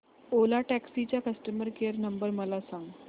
ओला taxi चा customer care number मला सांग